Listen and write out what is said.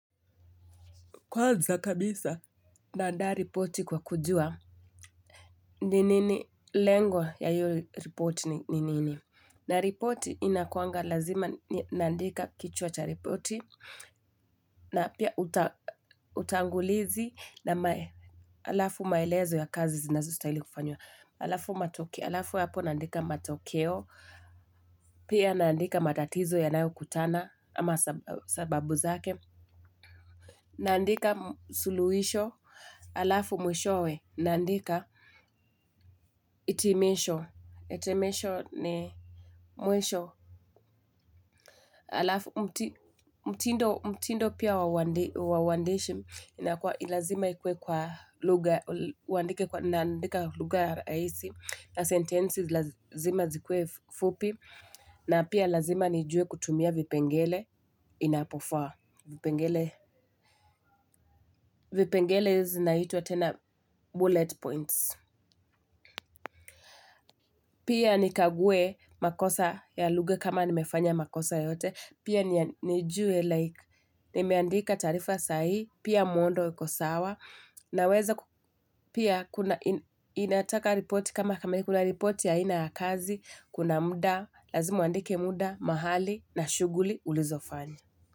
Kwanza kabisa. Na andaa riporti kwa kujua. Ni nini lengwa ya hiyo riporti ni nini. Na riporti inakuanga lazima naandika kichuwa cha riporti. Na pia utangulizi na alafu maelezo ya kazi zinazostahili kufanywa. Alafu matokeo. Alafu hapo naandika matokeo. Pia naandika matatizo yanayo kutana ama sababu zake. Naandika suluhisho. Alafu mwishowe, nandika hitimisho, hitimisho ni mwisho. Alafu, mtindo pia wa uandishi, ni lazima ikuwe kwa lugha, uandike kwa, na andika lugha rahisi, na sentensi lazima zikuwe fupi, na pia lazima nijue kutumia vipengele, inapofaa, vipengele, vipengele zinaitwa tena bullet points. Pia nikaguwe makosa ya lugha kama nimefanya makosa yoyote. Pia nijuwe like nimeandika taarifa saa hii. Pia muundo uko sawa. Naweza ku pia kuna inataka riporti kama kuna riporti ya aina ya kazi. Kuna muda. Lazima uandike muda mahali na shuguli ulizofanya.